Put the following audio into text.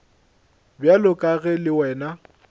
bjalo ka ge le wena